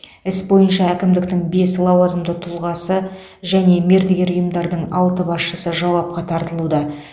іс бойынша әкімдіктің бес лауазымды тұлғасы және мердігер ұйымдардың алты басшысы жауапқа тартылуда